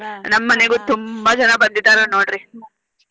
ನಮ್ಮ ಮನೆಗು ತುಂಬಾ ಜನ ಬಂದಿದಾರೆ ನೋಡ್ರಿ.